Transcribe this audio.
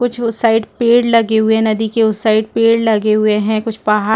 कुछ उस साइड पेड़ लगे हुए हैं नदी के उस साइड पेड़ लगे हुए हैं कुछ पहाड़--